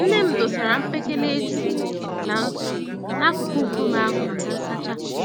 Nne m dosara mkpekele eju na ntụ n'akụkụ nkume ahụ maka nsacha.